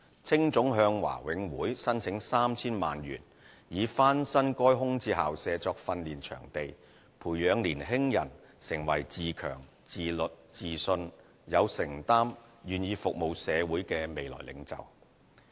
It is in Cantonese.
青總向華永會申請 3,000 萬元以翻新該空置校舍作訓練場地，培養年輕人成為自強、自律、自信、有承擔、願意服務社會的未來領袖。